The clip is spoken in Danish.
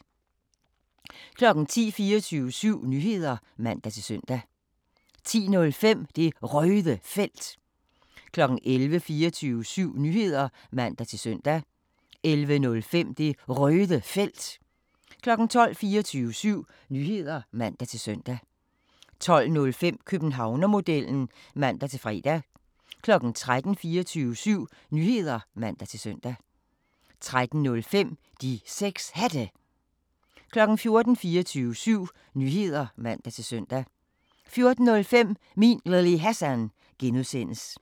10:00: 24syv Nyheder (man-søn) 10:05: Det Røde Felt 11:00: 24syv Nyheder (man-søn) 11:05: Det Røde Felt 12:00: 24syv Nyheder (man-søn) 12:05: Københavnermodellen (man-fre) 13:00: 24syv Nyheder (man-søn) 13:05: De 6 Hatte 14:00: 24syv Nyheder (man-søn) 14:05: Min Lille Hassan (G)